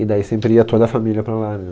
E daí sempre ia toda a família para lá né